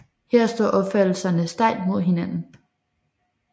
Her står opfattelserne stejlt mod hinanden